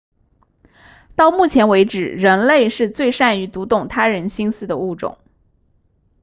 到目前为止人类是最善于读懂他人心思的物种